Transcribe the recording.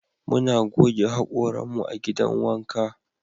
Muna goge hakoran mu a'gidan wanka.